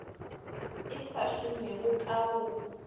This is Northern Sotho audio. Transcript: e sa šomega ka go